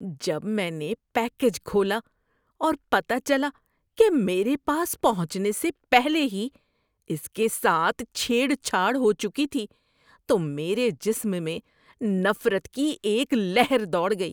جب میں نے پیکیج کھولا اور پتہ چلا کہ میرے پاس پہنچنے سے پہلے ہی اس کے ساتھ چھیڑ چھاڑ ہو چکی تھی تو میرے جسم میں نفرت کی ایک لہر دوڑ گئی۔